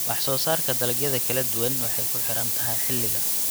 Wax-soo-saarka dalagyada kala duwan waxay ku xiran tahay xilliga.